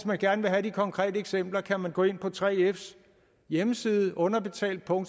man gerne vil have de konkrete eksempler kan man gå ind på 3fs hjemmeside underbetaltdk hvor